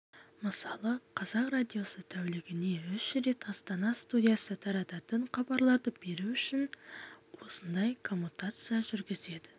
мысалы қазақ радиосы тәулігіне үш рет астана студиясы тарататын хабарларды беру үшін осындай коммутация жүргізеді